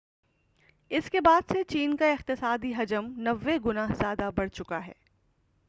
اس کے بعد سے چین کا اقتصادی حجم 90 گنا زیادہ بڑھ چکا ہے